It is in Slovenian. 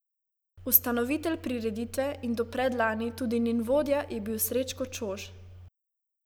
Ustanovitelj prireditve in do predlani tudi njen vodja je bil Srečko Čož.